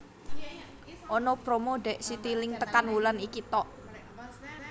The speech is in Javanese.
Ono promo dek Citilink tekan wulan iki tok